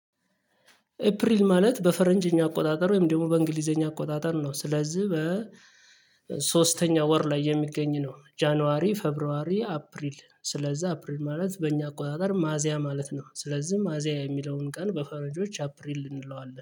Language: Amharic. ኤፕሪል ማለት በፈረንጅኛ አቆጣጠር ወይም ደግሞ በእንግሊዘኛ አቆጣጠር ነው። ስለዚህ በ ሶስተኛ ወር ላይ የሚገኝ ነው። ጃንዋሪ ፌብሯሪ አፕሪል ስለዚህ አፕሪል ማለት በእኛ አቆጣጠር ሚያዚያ ማለት ነው። ስለዚህ ሚያዚያ የሚለውን ቀን በፈረጆች አፕሪል እንለዋለን